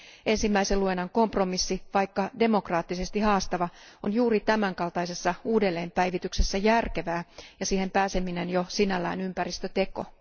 Ensimmäisen käsittelyn kompromissi, vaikkakin demokraattisesti haastava, on juuri tämänkaltaisessa uudelleenpäivityksessä järkevää ja siihen pääseminen jo sinällään ympäristöteko.